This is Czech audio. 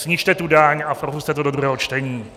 Snižte tu daň a propusťte to do druhého čtení.